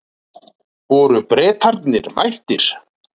Voru Bretarnir mættir?